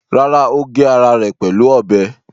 Rárá, ó gé ara rẹ̀ pẹ̀lú ọ̀bẹ.